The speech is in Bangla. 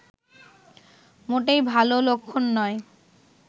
মোটেই ভালো লক্ষণ নয়